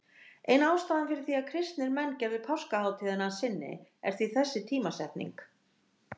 Ein ástæðan fyrir því að kristnir menn gerðu páskahátíðina að sinni er því þessi tímasetning.